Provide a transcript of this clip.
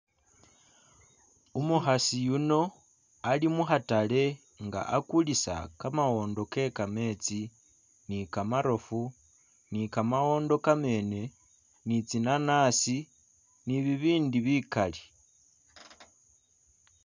Umukhasi yuno ali'mukhatale nga akulisa kamawondo ke'kametsi nikamarofu nikamawondo kamene nitsinanasi nibibindi bikali